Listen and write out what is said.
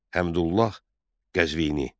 Həmdullah Qəzvini.